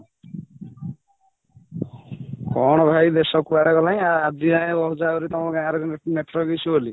କ'ଣ କରିବା ଦେଶ କୁଆଡେ ଗଲାଣି ଆଜି ଯାଏଁ କହୁଚ ଆହୁରି ତମ ଗାଁ ରେ network issue ବୋଲି